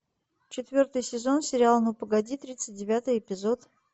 четвертый сезон сериала ну погоди тридцать девятый эпизод